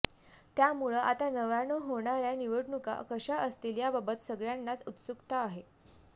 त्यामुळं आता नव्यानं होणाऱ्या निवडणूका कशा असतील याबाबत सगळ्यांनाच उत्सुकता आहे